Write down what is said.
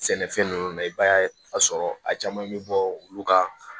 Sɛnɛfɛn ninnu na i b'a ye a sɔrɔ a caman bɛ bɔ olu ka